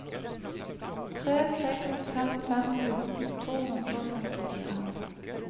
tre seks fem fem fjorten to hundre og femtifire